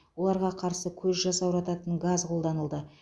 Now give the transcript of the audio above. оларға қарсы көз жасаурататын газ қолданылды